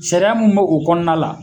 Sariya mun bɛ o kɔnɔna la